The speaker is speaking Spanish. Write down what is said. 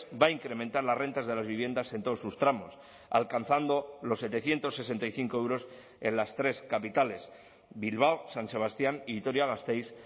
va a incrementar las rentas de las viviendas en todos sus tramos alcanzando los setecientos sesenta y cinco euros en las tres capitales bilbao san sebastián y vitoria gasteiz